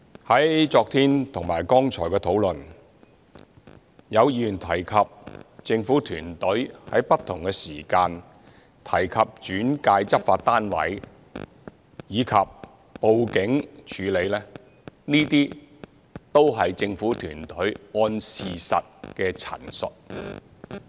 在昨天和剛才的討論，有議員提及政府團隊於不同時間提及轉介執法單位，以及報警處理，這些都是政府團隊按事實的陳述。